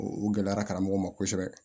U gɛlɛyara karamɔgɔ ma kosɛbɛ